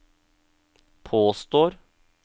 påstår